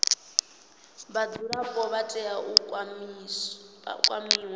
vhadzulapo vha tea u kwamiwa